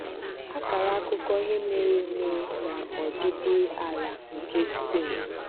Àkàrà àkùkọ̀ ihe mere eme na ọdị̀dị̀ ala nke spain